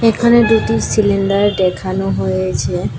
এখানে দুটি সিলিন্ডার দেখানো হয়েছে।